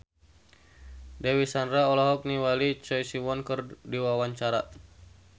Dewi Sandra olohok ningali Choi Siwon keur diwawancara